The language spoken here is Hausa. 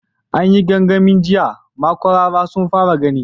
An yi gangamin jiya, makwarara sun fara gani.